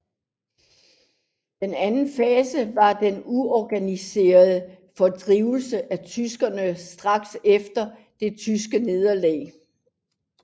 Den anden fase var den uorganiserede fordrivelse af tyskere straks efter det tyske nederlag